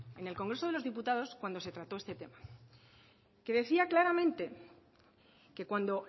en el congreso de los diputados cuando se trató este tema que decía claramente que cuando